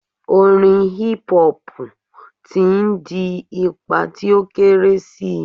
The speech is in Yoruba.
Orin hip hop ti n di ipa ti o kere si